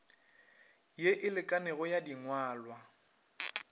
ye e lekanego ya dingwalwa